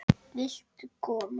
Magga var líka komin upp.